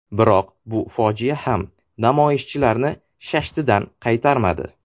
Biroq bu fojia ham namoyishchilarni shashtidan qaytarmadi.